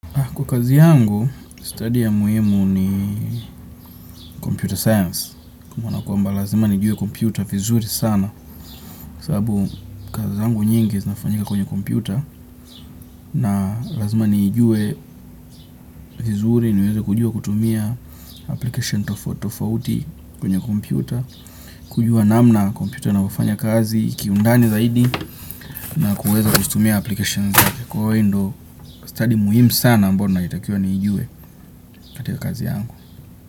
Kwa kazi yangu, stadi ya muhimu ni sayansi ya kompyuta, kwa maana kwamba lazima nijue kompyuta vizuri sana, sababu kazi yangu nyingi zinafanyika kwenye kompyuta, na lazima niijue vizuri, niweze kujua kutumia programu tofautitofauti kwenye kompyuta, kujua namna kompyuta inavyofanya kazi, kiundani zaidi, na kuweza kuzitumia programu ndiyo stadi muhimu sana ambayo ninayotakiwa niijuwe katika kazi yangu.